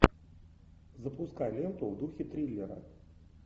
запускай ленту в духе триллера